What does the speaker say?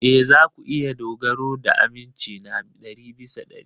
Ee, za ku iya dogara ga aminci na ɗari bisa ɗari.